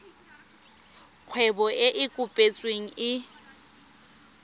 kgwebo e e kopetsweng e